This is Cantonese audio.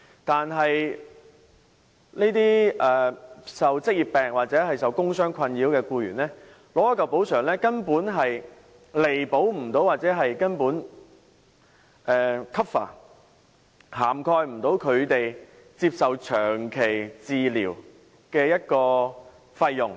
但是，受職業病或工傷困擾的僱員取得一筆補償後，根本未能彌補或 cover 他們接受長期治療的費用。